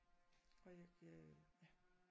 Og jeg jeg ja